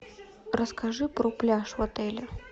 расскажи про пляж в отеле